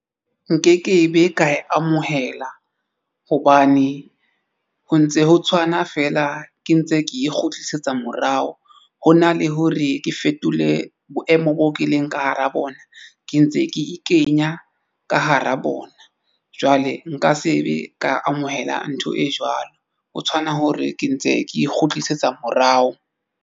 Nke ke be ka e amohela hobane ho ntse ho tshwana feela ke ntse ke e kgutlisetsa morao. Ho na le hore ke fetole boemo boo ke e leng ka hara bona ke ntse ke e kenya ka hara bona jwale nka se be ka amohela ntho e jwalo ho tshwana hore ke ntse ke e kgutlisetsa morao.